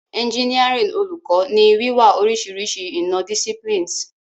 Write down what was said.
Engineering Oluko ni wiwa orisirisi ina- disciplines.